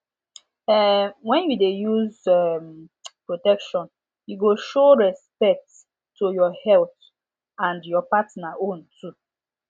um when you de use um protection e go show respect to your health and your partner own too